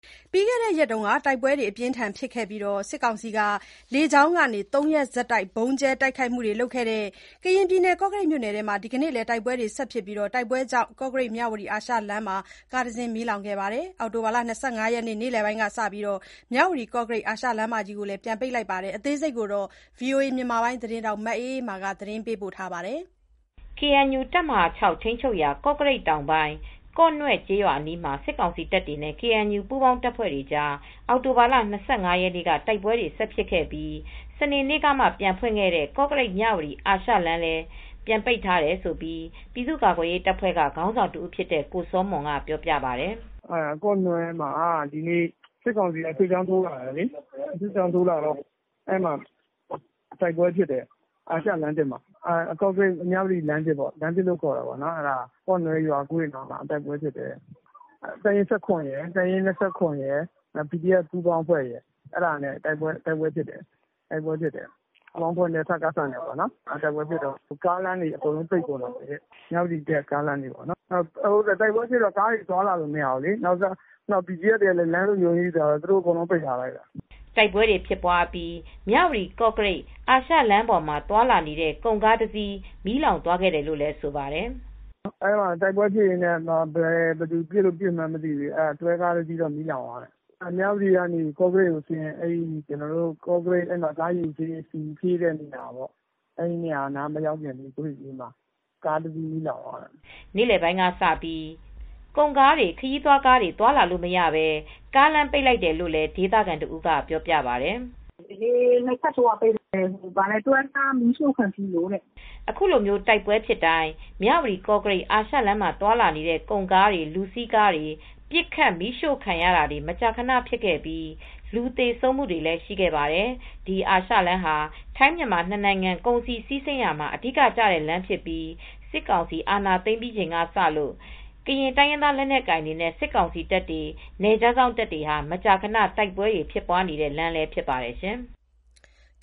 ပြီးခဲ့တဲ့ရက်ပိုင်းက တိုက်ပွဲတွေအပြင်းအထန်ဖြစ်ပြီး စစ်ကောင်စီက ၃ ရက် ဆက်တိုက် လေကြောင်းကနေဗုံးကြဲတိုက်ခိုက်ခဲ့တဲ့ ကရင်ပြည်နယ် ကော့ကရိတ်မြို့မှာ ဒီကနေ့လည်း တိုက်ပွဲတွေ ဆက်ဖြစ်ခဲ့ပါတယ်။ ဒီကနေ့တိုက်ပွဲကြောင့် ပြီးခဲ့တဲ့ရက်ပိုင်းကပဲ ပြန်ဖွင့်ပေးခဲ့တဲ့ ကော့ကရိတ်-မြဝတီ အာရှလမ်းမကြီးကိုလည်း ဒီကနေ့ နေ့လယ်ကစပြီး ပြန်ပိတ်လိုက်တယ်လို့ ဒေသခံတွေက ပြောပါတယ်။ ဗွီအိုအေမြန်မာပိုင်း သတင်းထောက် မအေးအေးမာက သတင်းပေးပို့ထားပါတယ်။ KNU တပ်မဟာ ၆ ထိန်းချုပ်ရာ ကော့ကရိတ်တောင်ပိုင်း၊ ကော့နွဲ့ကျေးရွာအနီးမှာ စစ်ကောင်စီတပ်တွေနဲ့ KNU ပူးပေါင်းတပ်ဖွဲ့တွေကြား အောက်တိုဘာလ၂၅ ရက်နေ့က တိုက်ပွဲတွေဆက်ဖြစ်ခဲ့ပြီး စနေနေ့ကပြန်ဖွင့်ခဲ့တဲ့ ကော့ကရိတ် မြဝတီအာရှလမ်းလည်း ပြန်ပိတ်ထားတယ်လို့ ပြည်သူ့ကာကွယ်ရေးတပ်ဖွဲ့ကခေါင်းဆောင်တဦးဖြစ်တဲ့ကိုစောမွန်ကပြောပါတယ်။ “ကော့နွဲ့မှာစစ်ကောင်စီက စစ်ကြောင်းထိုးလာတယ်လေ။ အဲဒီမှာတိုက်ပွဲဖြစ်တယ်။ အာရှလမ်းသစ်မှာ ကော့ကရိတ်-မြဝတီလမ်းသစ်မှာပေါ့ လမ်းသစ်လို့ခေါ်တယ်။ ကော့နွဲ့ရွာသစ်ဘက်မှာ တိုက်ပွဲဖြစ်တယ်။ တပ်ရင်း ၊ တပ်ရင်း ၊ PDF ပူးပေါင်းတပ်တွေနဲ့ စကစတို့တိုက်ပွဲဖြစ်တယ်။ တိုက်ပွဲဖြစ်တော့ ကားလမ်းတွေ အကုန်ပိတ်ကုန်တယ်။ မြဝတီအတက်ကားလမ်းတွေ အကုန်ပိတ်ကုန်တယ်။ တိုက်ပွဲတွေဖြစ်တော့ ကားတွေသွားလို့မရဘူး။ BGF တွေကလည်း လမ်းလုံခြုံရေးယူထားတော့ သူတို့လမ်းတွေ အကုန်ပိတ်ထားတယ်။” တိုက်ပွဲတွေဖြစ်ပြီး မြဝတီ-ကော့ကရိတ် အာရှလမ်းပေါ်မှာသွားလာနေတဲ့ ကုန်ကားတစီး မီးလောင်သွားတယ်လို့လည်း ဆိုပါတယ်။ “အဲဒီမှာတိုက်ပွဲဖြစ်ရင်းနဲ့ ဘယ်သူပစ်လို့ပစ်မှန်းတော့မသိဘူး။ တွဲကားတစီးမီးလောင်သွားတယ်။ မြဝတီကနေ ကော့ကရိတ်အဆင်း ကော့ကရိတ်ကားရေဆေးတဲ့နေရာ၊ အဲဒီနေရာလေးမရောက်ခင်ကွေ့လေးမှာကားတစီးမီးလောင်သွားတာပါ။” နေလယ်ပိုင်းကစပြီး ကုန်ကားတွေရော ခရီးသွားကားတွေပါ သွားလာလို့မရတော့ဘဲ ကားလမ်းပိတ်လိုက်တယ်လို့လည်း ဒေသခံတဦးကပြောပါတယ်။ “ဒီနေ့ ၂ ချက်ထိုးက ပိတ်လိုက်တယ်။ ကားတစီးမီးရှို့ခံထိလို့တဲ့။” အခုလိုတိုက်ပွဲတွေဖြစ်တိုင်း မြဝတီ-ကော့ကရိတ် အာရှလမ်းမှာသွားလာနေတဲ့ကုန်ကားတွေ၊ လူစီးကားတွေပစ်ခတ်မီးရှို့ခံရတာမျိုး မကြာခဏဖြစ်ခဲ့ပြီးလူသေဆုံးမှုတွေလည်းရှိခဲ့ပါတယ်။ ဒီအာရှလမ်းဟာ ထိုင်း-မြန်မာ နှစ်နိုင်ငံကုန်စည်စီးဆင်းရာမှာ အဓိကကျတဲ့လမ်းဖြစ်ပြီး စစ်ကောင်စီအာဏာသိမ်းပြီးချိန်ကစလို့ ကရင်တိုင်းရင်းသားလက်နက်ကိုင်တွေနဲ့ စစ်ကောင်စီတပ်တွေ နယ်ခြားစောင့်တပ်တွေ မကြာခဏ တိုက်ပွဲဖြစ်ပွားနေတဲ့လမ်းလည်းဖြစ်ပါတယ်ရှင်။